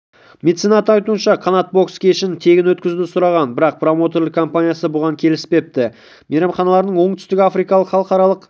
меценаттың айтуынша қанат бокс кешін тегін өткізуді сұраған бірақ промоутерлік компаниясы бұған келіспепті мейрамханаларының оңтүстікафрикалық халықаралық